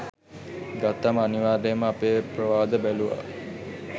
ගත්තම අනිවාර්යෙන්ම අපේ ප්‍රවාද බැලුවා.